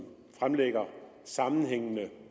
fremlægger sammenhængende